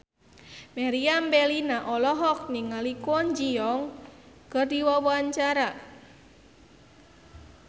Meriam Bellina olohok ningali Kwon Ji Yong keur diwawancara